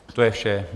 To je vše.